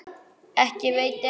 Ekki veiti af.